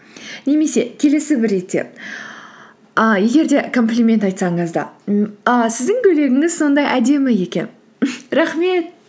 немесе келесі бір ретте і егер де комплимент айтсаңыз да ммм і сіздің көйлегіңіз сондай әдемі екен мхм рахмет